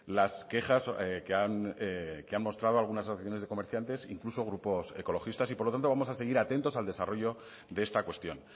las quejas que han mostrado algunas asociaciones de comerciantes incluso grupos ecologistas y por lo tanto vamos a seguir atentos al desarrollo de esta cuestión